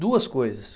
Duas coisas.